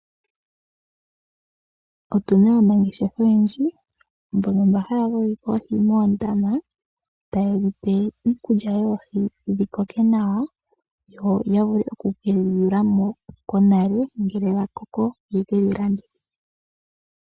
Otuna aanangeshefa oyendji mbono mba haya vugike oohi moondama, tayedhi pe iikulya yoohi dhi koke nawa yo ya vule okukedhi yulamo konale ngele dha koko ye kedhi landithepo.